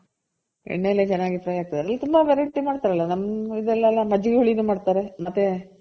ಎಣ್ಣೆಲ್ಲಿ ಚೆನ್ನಾಗಿ fry ಆಗ್ತದೆ ತುಂಬಾ variety ಮಾಡ್ತಾರಲ್ಲ ನಮ್ ಇದ್ರಲೆಲ್ಲ ಮಜ್ಜಿಗೆ ಹುಳಿ ನು ಮಾಡ್ತಾರೆ ಮತ್ತೆ.